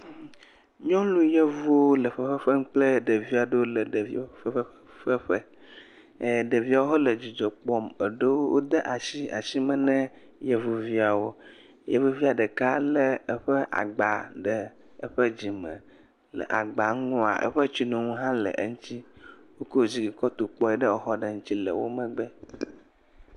Nyɔnuyɔvu le fefefem kple ɖevi aɖewo le ɖeviwo ƒe fefefeƒe. E ɖeviawo hã le dzidzɔ kpɔm. Eɖewo de asi le asi me na yevuviawo. Yevuvia ɖeka hã le eƒe agba ɖe eƒe dzime. Le agba ŋua eƒe tsinonu hã le eŋuti. Woko dzi kɔ to kpɔ ɖe exɔ ɖe ŋuti le wo megbe.